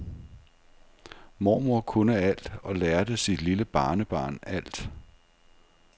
Mormor kunne alt og lærte sit lille barnebarn alt.